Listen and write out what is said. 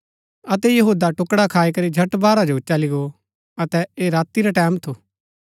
अतै यहूदा टुकडा खाई करी झट बाहर जो चली गो अतै ऐह राती रा टैमं थू